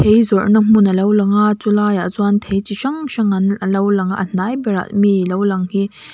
zawrhna hmun a lo lang a chu laiah chuan thei chi hrang hrang an a lo lang a a hnai berah mi lo lang hi--